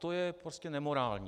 To je prostě nemorální.